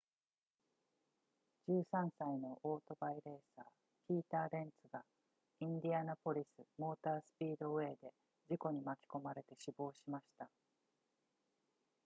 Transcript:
13歳のオートバイレーサーピーターレンツがインディアナポリスモータースピードウェイで事故に巻き込まれて死亡しました